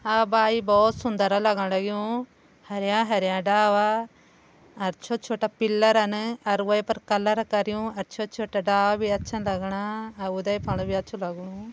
आ भाई बहोत सुन्दर लगण लग्युं हरयां हरयां डाला अर छोटा छोटा पिल्लरन अर वै पर कलर करयूं अर छोटा छोटा डाला भी अच्छा लगणा आ उदे फण भी अच्छु लगणु।